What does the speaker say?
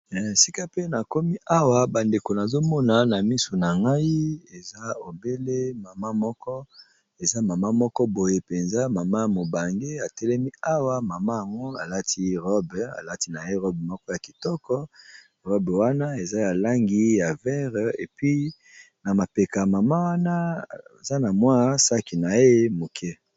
Esika pe na komi awa bandeko nazomona na misu na ngai eza obele mama mok,o eza mama moko boye mpenza mama mobange atelemi awa mama yango alati robe, alati na ye robe moko ya kitoko robe wana eza ya langi ya verre epi na mapeka mama wana eza na mwa saki na ye moke.